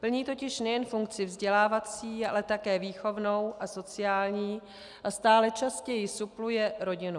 Plní totiž nejen funkci vzdělávací, ale také výchovnou a sociální a stále častěji supluje rodinu.